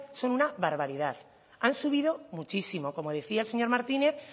son una barbaridad han subido muchísimo como decía el señor martínez